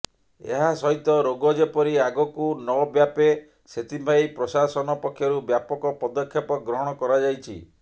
ଏହାସହିତ ରୋଗ ଯେପରି ଆଗକୁ ନବ୍ୟାପେ ସେଥିପାଇଁ ପ୍ରଶାସନ ପକ୍ଷରୁ ବ୍ୟାପକ ପଦକ୍ଷେପ ଗ୍ରହଣ କରାଯାଇଛି